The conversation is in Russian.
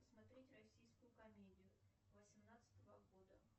смотреть российскую комедию восемнадцатого года